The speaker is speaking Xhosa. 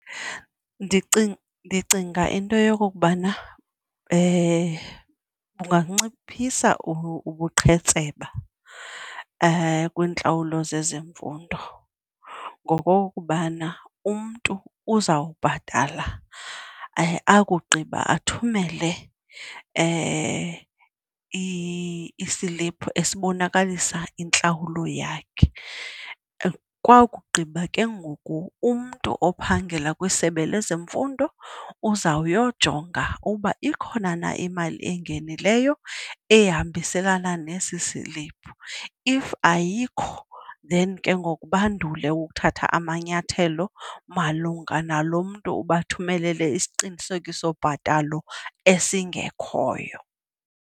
Ndicinga into yokokubana kunganciphisa ubuqhetseba kwiintlawulo zezemfundo ngokokubana umntu uzawubhatala, akugqiba athumele isiliphu esibonakalisa intlawulo yakhe. Kwakugqiba ke ngoku umntu ophangela kwiSebe lezeMfundo uzawuyojonga uba ikhona na imali engenileyo ehambiselana nesi silipu. If ayikho then ke ngoku bandule ukuthatha amanyathelo malunga nalo mntu ubathumelele isiqinisekisobhatalo esingekhoyo.